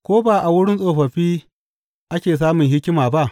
Ko ba a wurin tsofaffi ake samun hikima ba?